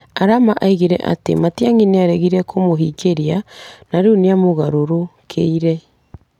Arama oigire atĩ Matiang'i nĩ aregire kũmũhingĩria na rĩu nĩ amũgarũrũkĩire.